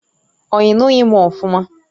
Ọ inughi m ofuma?